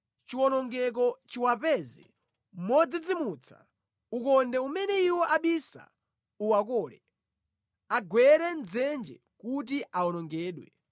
chiwonongeko chiwapeza modzidzimutsa ukonde umene iwo abisa uwakole, agwere mʼdzenje kuti awonongedwe.